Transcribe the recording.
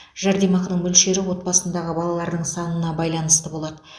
жәрдемақының мөлшері отбасындағы балалардың санына байланысты болады